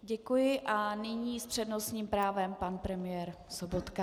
Děkuji a nyní s přednostním právem pan premiér Sobotka.